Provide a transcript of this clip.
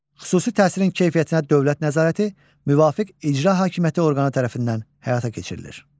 Xüsusi təhsilin keyfiyyətinə dövlət nəzarəti müvafiq icra hakimiyyəti orqanı tərəfindən həyata keçirilir.